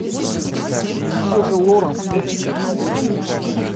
и все же лоранс включи ка